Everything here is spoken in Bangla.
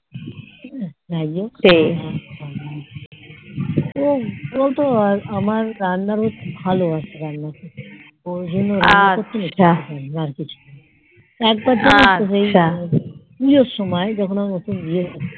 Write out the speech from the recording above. ও ও তো আর আমার রান্নার হাত ভালো আছে রান্না করতে আর একবার জানিস তো এই পুজোর সময় যখন এই নতুন বিয়ে